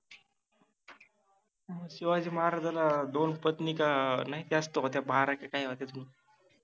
शिवाजि महाराजाला दोन पत्नि का नाहि जास्त होत्या बारा कि काइ आठवत नाही,